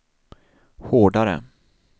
hårdare